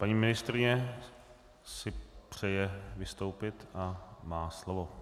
Paní ministryně si přeje vystoupit a má slovo.